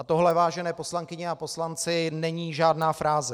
A tohle, vážené poslankyně a poslanci, není žádná fráze.